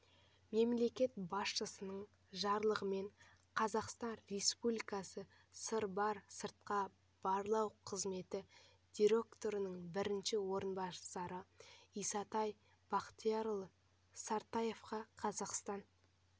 мемлекет басшысының жарлығымен қазақстан республикасы сырбар сыртқы барлау қызметі директорының бірінші орынбасары исатай бақтиярұлы сартаевқа қазақстан